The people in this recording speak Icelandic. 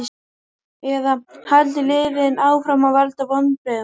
Eða halda liðin áfram að valda vonbrigðum?